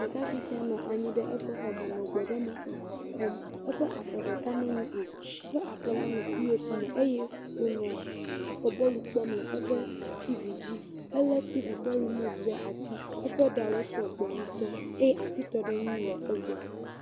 Ɖekakpui sia nɔ anyi ɖe eƒe xɔ me nɔ gbɔɖeme xɔm, eƒe afɔ ɖeka menyo, eƒe afɔ la nɔ pop me eye wònɔ afɔ bɔlu kpɔm le eƒe tivi dzi. Elé tivi ƒe rimot ɖe asi, eƒe ɖawo sɔgbɔ ŋutɔ eye atitɔɖeŋui le egbɔ.